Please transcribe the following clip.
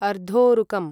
अर्धोरुकम्